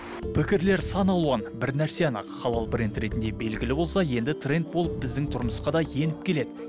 пікірлер саналуан бір нәрсе анық халал бренд ретінде белгілі болса енді тренд болып біздің тұрмысқа да еніп келеді